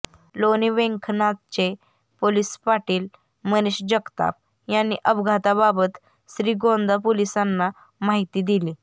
लोणी व्यंकनाथचे पोलिस पाटील मनेष जगताप यांनी अपघाताबाबत श्रीगोंदा पोलिसांना माहिती दिली